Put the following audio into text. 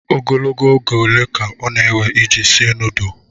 Ogologo oge ole ka ọ na-ewe iji sie nudulu?